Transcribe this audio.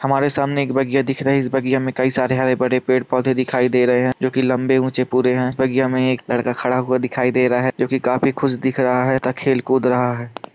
हमारे सामने एक बगिया दिख रही है इस बगिया में कई सारे हरे-भरे पेड़ -पौधे दिखाई दे रहा है जो की लम्बे-ऊँचे पूरे है इस बगिया में एक लड़का खड़ा हुआ दिखाई दे रहा है जो की काफी खुश दिख रहा है|